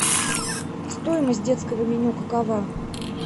стоимость детского меню какова